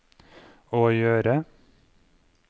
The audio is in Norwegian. å gjøre